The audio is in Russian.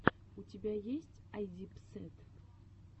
у тебя есть айдипсэд